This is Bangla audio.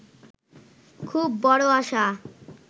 খুব বড় আশা